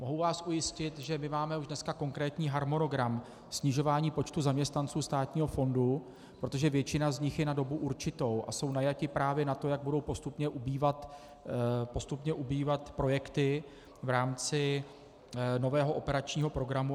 Mohu vás ujistit, že my už máme dneska konkrétní harmonogram snižování počtu zaměstnanců státního fondu, protože většina z nich je na dobu určitou a jsou najati právě na to, jak budou postupně ubývat projekty v rámci nového operačního programu.